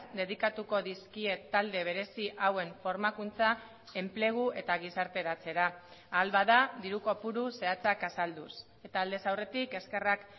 dedikatuko dizkie talde berezi hauen formakuntza enplegu eta gizarteratzera ahal bada diru kopuru zehatzak azalduz eta aldez aurretik eskerrak